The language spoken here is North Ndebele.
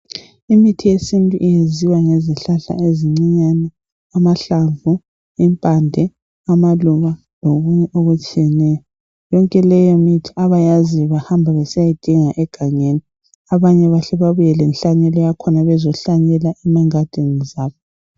Imithi yesintu eyenziwa ngezihlahla ezicincane , amahlamvu, imphande amaluba lokunye okutshiyeneyo. Yonke leyo mithi abayaziyo bahamba besiyayidinga egangeni. Abanye basuka bebuye lehlanyelo yakhona bezohlanyela ezigadini zabo.